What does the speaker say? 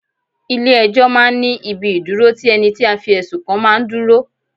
Ilẹ̀ ẹjọ́ máa ń ní ibi ìdúró tí ẹni tí a fi ẹ̀sùn kan máa ń dúró.